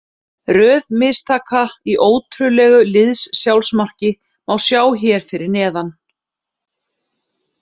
Röð mistaka í ótrúlegu liðs-sjálfsmarki má sjá hér að neðan.